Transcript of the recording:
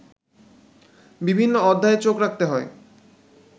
বিভিন্ন অধ্যায়ে চোখ রাখতে হয়